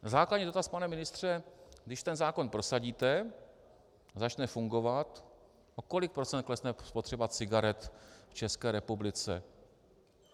Základní dotaz, pane ministře: Když ten zákon prosadíte, začne fungovat, o kolik procent klesne spotřeba cigaret v České republice?